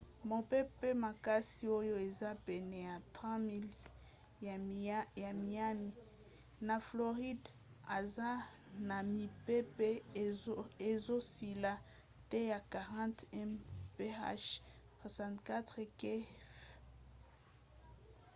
mopepe makasi oyo eza pene ya 3 000 miles ya miami na floride aza na mipepe ezosila te ya 40 mph 64 kph